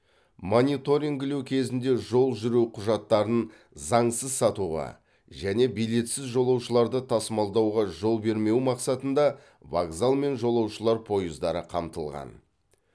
мониторингілеу кезінде жол жүру құжаттарын заңсыз сатуға және билетсіз жолаушыларды тасымалдауға жол бермеу мақсатында вокзал мен жолаушылар пойыздары қамтылған